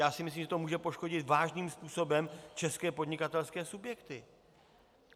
Já si myslím, že to může poškodit vážným způsobem české podnikatelské subjekty.